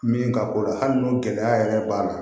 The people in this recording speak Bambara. Min ka ko la hali n'o gɛlɛya yɛrɛ b'a la